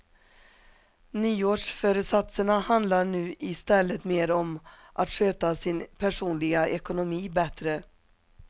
Nyårsföresatserna handlar nu i stället mer om att sköta sin personliga ekonomi bättre.